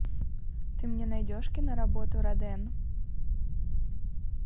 ты мне найдешь киноработу роден